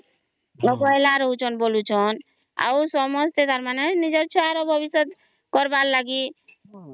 ଅବହେଳା ରହୁ ଛନ ବୋଲୁ ଛନ ଆଉ ସମସ୍ତେ ତାର ମାନେ ନିଜ ଛୁଆ ର ଭବିଷ୍ୟତ କରିବାର ଲାଗି